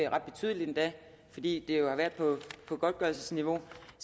ret betydeligt endda fordi det jo har været på godtgørelsesniveau